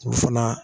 U fana